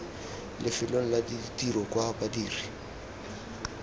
lefelong la tiro kwa badiri